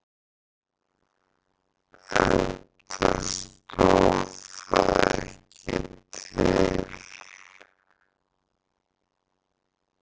Enda stóð það ekki til.